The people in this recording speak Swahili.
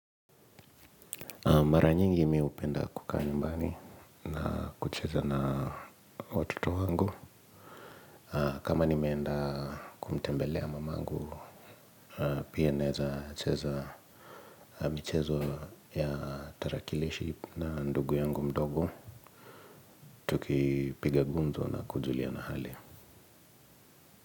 Mara nyingi mimi hupenda kukaa nyumbani na kucheza na watoto wangu. Kama nimeenda kumtembelea mamangu, pia naweza cheza michezo ya tarakilishi na ndugu yangu mdogo tukipiga gumzo na kujuliana hali.